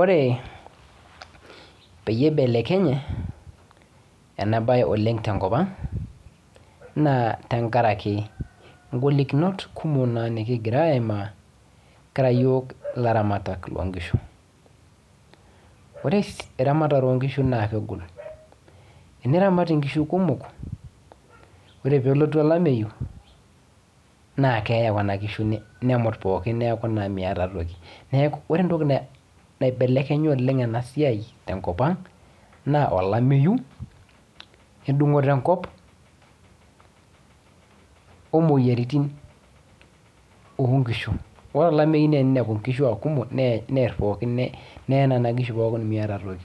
Ore peyie ibelekenye ena bae oleng tenkopang naa tenkaraki ingolikinot kumok naa nekigira aimaa kira iyiok ilaramatak loo nkishu. Ore eramatare oo nkishu naa kegol. Eniramata inkishu kumok, ore peelotu olameyu naa keeye kuna kishu nemut pooki neeku naai miata toki. Neeku ore entoki naibelekenya oleng ena siai tenkopang naa olameyu, endung'oto enkop o moyiaritiin oo nkishu. Ore olameyu eninepu nkishu aa kumok neerr pooki, neye nena kishu pookin miata toki.